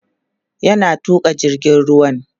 yana Tuka jirgin ruwan